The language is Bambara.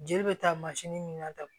Jeli bɛ taa mansin min na tan